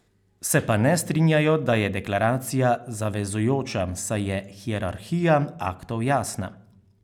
Se pa ne strinjajo, da je deklaracija zavezujoča, saj je hierarhija aktov jasna.